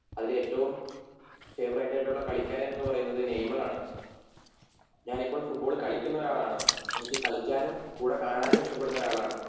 അതിൽ ഏറ്റവും ഫേവറേറ്റ് ആയിട്ടുള്ള കളിക്കാരനെന്നുപറയുന്നതു നെയ്‌മറാണ് ഞാനിപ്പോൾ ഫുട്ബാൾ കളിക്കുന്നൊരാളാണ് എനിക്ക് കളിക്കാനും കൂടെ കാണാനും ഇഷ്ട്ടപെടുന്നൊരാളാണ്